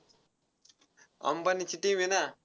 अंबानीची team आहे ना.